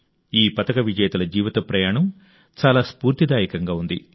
ఈ పతక విజేతల జీవిత ప్రయాణం చాలా స్ఫూర్తిదాయకంగా ఉంది